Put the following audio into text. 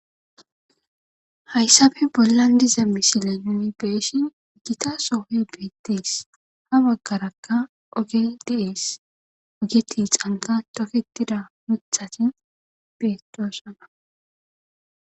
Hayssabe bollan di zemmisile numibeeshin gita soohe beettees ha baggarakka ogedies ogeti xanqa tofetida mithatin beetoosana